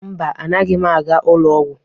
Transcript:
Mba, agaghị m aga ụlọ ọgwụ.